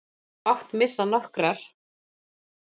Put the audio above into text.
Þú mátt missa nokkrar.